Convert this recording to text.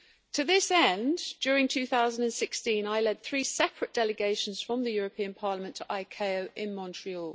To this end, during 2016, I led three separate delegations from Parliament to ICAO in Montreal.